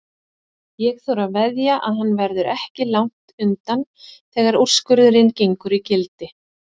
Ég þori að veðja að hann verður ekki langt undan þegar úrskurðurinn gengur í gildi.